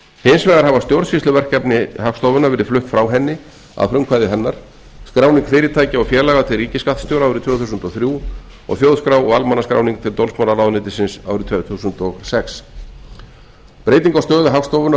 hins vegar hafa stjórnsýsluverkefni hagstofunnar verið flutt frá henni að frumkvæði hennar skráning fyrirtækja og félaga til ríkisskattstjóra árið tvö þúsund og þrjú og þjóðskrá og almannaskráning til dómsmálaráðuneytisins árið tvö þúsund og sex breyting á stöðu hagstofunnar úr